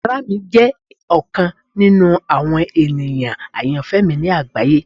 Ara mi jẹ ọkan ninu awọn eniyan ayanfẹ mi ni agbaye.